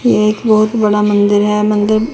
ये एक बहोत बड़ा मंदिर है मंदिर--